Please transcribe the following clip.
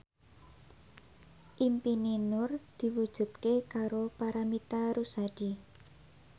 impine Nur diwujudke karo Paramitha Rusady